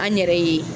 An yɛrɛ ye